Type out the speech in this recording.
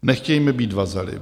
Nechtějme být vazaly.